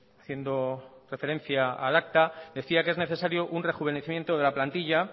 haciendo referencia al acta decía que es necesario un rejuvenecimiento de la plantilla